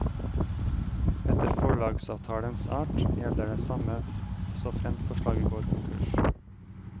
Etter forlagsavtalens art gjelder det samme såfremt forlaget går konkurs.